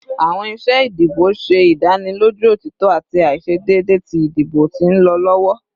Awọn iṣe idibo ṣe idaniloju otitọ ati aiṣedeede ti idibo ti nlọ lọwọ